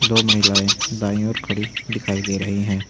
दो महिलाएं दाईं ओर खड़ी दिखाई दे रही हैं।